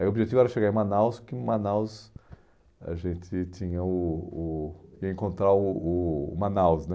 Aí o objetivo era chegar em Manaus, porque em Manaus a gente tinha o o... ia encontrar o o o Manaus, né?